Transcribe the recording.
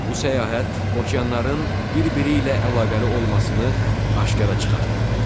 Bu səyahət okeanların bir-biri ilə əlaqəli olmasını aşkara çıxartdı.